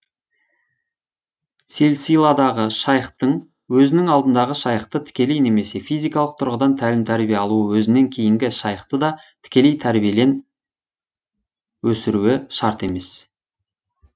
силсиладағы шайхтың өзінің алдындағы шайхты тікелей немесе физикалық тұрғыдан тәлім тәрбие алуы өзінен кейінгі шайхты да тікелей тәрбиелен өсіруі шарт емес